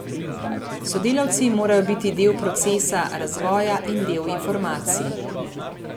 Sodelavci morajo biti del procesa, razvoja in del informacij.